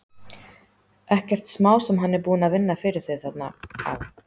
Ekkert smá sem hann er búinn að vinna fyrir þau þarna á